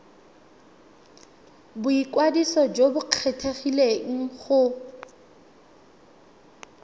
boikwadiso jo bo kgethegileng go